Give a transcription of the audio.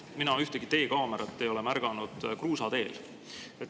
Aga mina ei ole ühtegi teekaamerat märganud kruusateel.